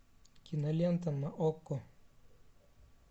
кинолента на окко